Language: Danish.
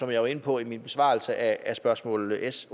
jeg var inde på i min besvarelse af spørgsmål s